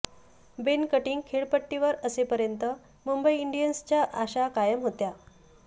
बेन Cutting खेळपट्टीवर असेपर्यंत मुंबई इंडियन्सच्या आशा कायम होत्या